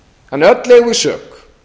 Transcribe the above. þannig að öll eigum við sök